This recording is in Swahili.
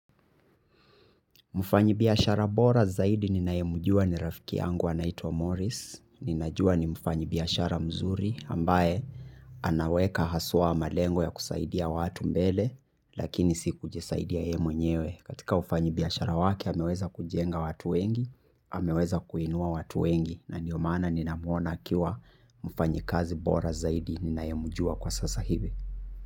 Mfanyi biashara bora zaidi ninayemujua ni rafiki yangu anaitwa Morris. Ninajua ni mfanyabiashara mzuri ambaye anaweka haswa malengo ya kusaidia watu mbele, lakini si kujisaidia yeye mwenyewe. Katika ufanyi biashara wake ameweza kujenga watu wengi. Ameweza kuinua watu wengi na ndio maana ninamuona akiwa mfanyi kazi bora zaidi ninayemjua kwa sasa hivi.